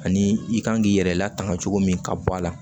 Ani i kan k'i yɛrɛ latanga cogo min ka bɔ a la